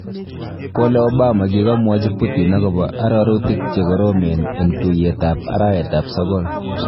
Kole Obama kigomwochi Putin agobo arorutik chegoromen en tuyeetab arawet sogol.